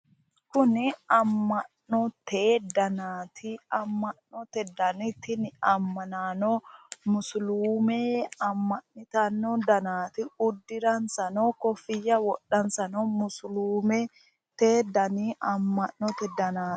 Kuni amma'no danaati amma'note dani tini ammanaano musuluume amma'nitanno danaati. uddiransa koffiyya wodhansanno musuluumete dani amma'note danaati.